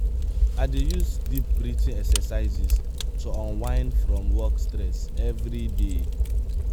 i dey use deep breathing exercises to unwind from work stress every day.